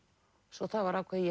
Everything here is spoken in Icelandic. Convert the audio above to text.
svo það var ákveðið